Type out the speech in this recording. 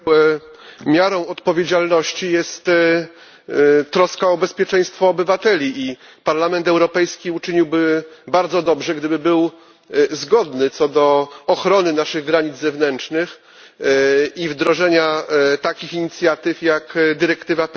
Miarą odpowiedzialności jest troska o bezpieczeństwo obywateli i Parlament Europejski uczyniłby bardzo dobrze, gdyby był zgodny co do ochrony naszych granic zewnętrznych i wdrożenia takich inicjatyw jak dyrektywa PNR.